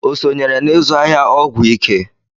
O sonyere n'izụ ahịa ọgwụ ike?